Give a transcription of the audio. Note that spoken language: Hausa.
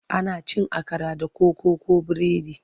Ana cin akara da koko ko biredi.